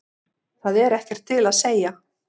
Það er ekkert til að segja.